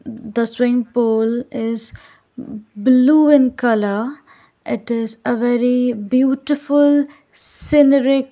the swim pool is blue in colour it is a very beautiful scenaric --